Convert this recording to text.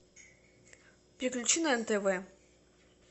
переключи на нтв